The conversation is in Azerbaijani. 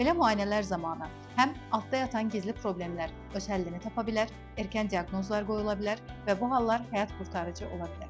Belə müayinələr zamanı həm altdan yatan gizli problemlər öz həllini tapa bilər, erkən diaqnozlar qoyula bilər və bu hallar həyat qurtarıcı ola bilər.